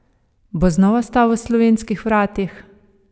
Bo znova stal v slovenskih vratih?